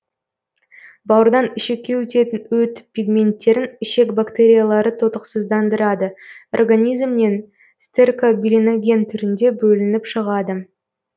бауырдан ішекке өтетін өт пигменттерін ішек бактериялары тотықсыздандырады организмнен стеркобилиноген түрінде бөлініп шығады